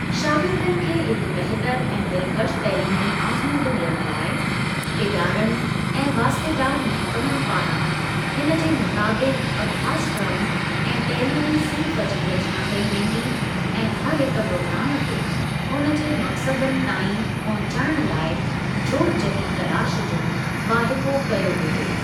शागिर्दनि खे हिकु बहितरु ऐं दिलकश तइलीमी आज़मूदो ॾियण लाइ इदारनि ऐं वास्तेदार महकमनि पारां हिनजे मुताबिक अभ्यासक्रम ऐं तइलीमी सिन्फ़ जी रचना कई वेंदी ऐं हरहिक प्रोग्राम खे उनजे मक़सदनि ताईं पहुंचाइण लाइ जोड़जकी तलाश जो वाहिपो कयो वेंदो।